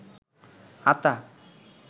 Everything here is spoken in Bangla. আতা